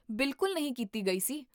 ਬਿਲਕੁਲ ਨਹੀਂ ਕੀਤੀ ਗਈ ਸੀ